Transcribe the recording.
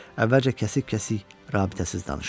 Əvvəlcə kəsik-kəsik, rabitəsiz danışırdı.